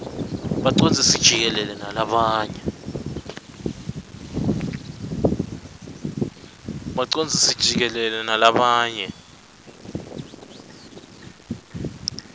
bacondzisi jikelele nalabanye